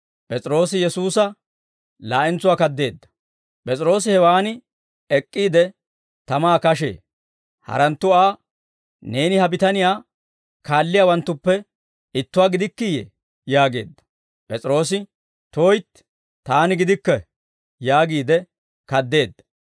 P'es'iroosi hewan ek'k'iide, tamaa kashee; haranttu Aa, «Neeni ha bitaniyaa kaalliyaawanttuppe ittuwaa gidikkiiyee?» yaageedda. P'es'iroose, «Tuytti; taani gidikke» yaagiide kaddeedda.